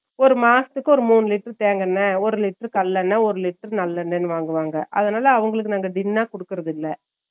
ஒரு மாசத்துக்கு ஒரு மூனு லிட்டர் தேங்க என்னை ஒரு லிட்டர் கள்ளென்ன ஒரு லிட்டர் நல்லெண்ண வாங்குவாங்க அதுனால அவங்களுக்கு tin னா கொடுக்குறது இல்ல